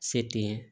Se tɛ